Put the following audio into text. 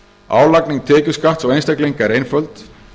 álagning tekjuskatts á einstaklinga er einföld